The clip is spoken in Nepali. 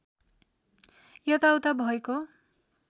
यता उता भएको